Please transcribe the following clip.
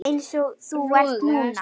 Einsog þú ert núna.